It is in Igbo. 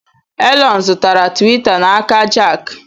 Elon zụtara Tiwita n'aka Jack.